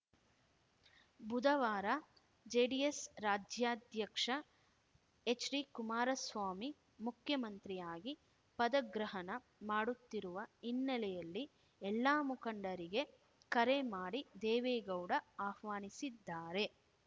ಬುಧವಾರ ಜೆಡಿಎಸ್‌ ರಾಜ್ಯಾಧ್ಯಕ್ಷ ಎಚ್‌ಡಿಕುಮಾರಸ್ವಾಮಿ ಮುಖ್ಯಮಂತ್ರಿಯಾಗಿ ಪದಗ್ರಹಣ ಮಾಡುತ್ತಿರುವ ಹಿನ್ನೆಲೆಯಲ್ಲಿ ಎಲ್ಲಾ ಮುಖಂಡರಿಗೆ ಕರೆ ಮಾಡಿ ದೇವೇಗೌಡ ಆಹ್ವಾನಿಸಿದ್ದಾರೆ